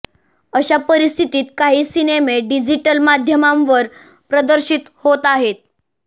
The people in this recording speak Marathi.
अशा परिस्थितीत काही सिनेमे डिजिटल माध्यमांवर प्रदर्शित होत आहेत